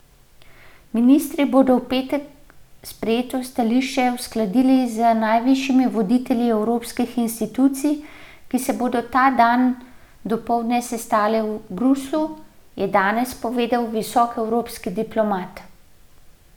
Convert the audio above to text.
Ministri bodo v petek sprejeto stališče uskladili z najvišjimi voditelji evropskih institucij, ki se bodo ta dan dopoldne sestali v Bruslju, je danes povedal visok evropski diplomat.